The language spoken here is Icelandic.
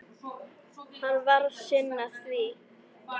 Hann varð að sinna því.